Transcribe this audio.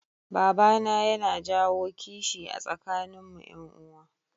Babana yana jawo kishi a tsakanin mu yan uwa